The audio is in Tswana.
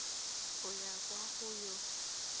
go ya kwa go yo